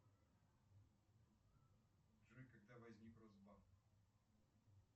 джой когда возник росбанк